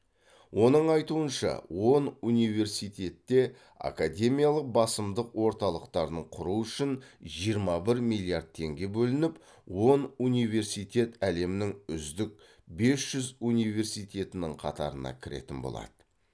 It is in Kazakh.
оның айтуынша он университетте академиялық басымдық орталықтарын құру үшін жиырма бір миллиард теңге бөлініп он университет әлемнің үздік бес жүз университетінің қатарына кіретін болады